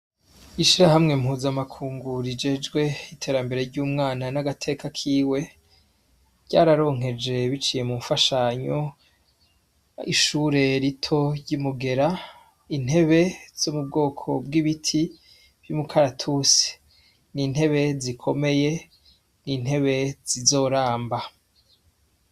Ishirahamwe mpuzamakungu rijejwe iterambere ry'umwana nagateka kiwe, ryararonkeje biciye munfashanyo, ishure rito ry'imugera, intebe zo mubwoko bw'ibiti vyumu karatusi, n'intebe zikomeye, intebe zizoramba.